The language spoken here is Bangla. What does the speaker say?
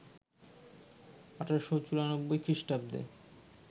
১৮৯৪ খ্রিস্টাব্দে